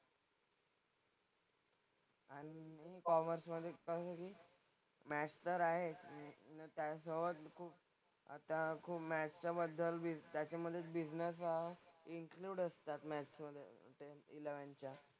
आणि कॉमर्स मधे पण मॅथ्स तर आहे आणि त्यासोबत खूप आता खूप मॅथ्सच्या बद्दल बिझ त्याच्यामधे बिझनेस हा इन्क्लुड असतात मॅथ्समधे ते इलेव्हन्थच्या.